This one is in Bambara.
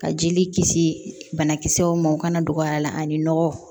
Ka jeli kisi banakisɛw ma o kana don a la ani nɔgɔ